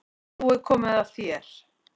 Nú er komið að þér.